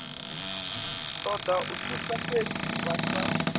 toda thuso fhedzi vha sa